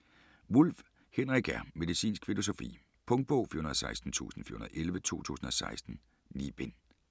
Wulff, Henrik R.: Medicinsk filosofi Punktbog 416411 2016. 9 bind.